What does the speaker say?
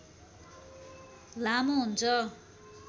लामो हुन्छ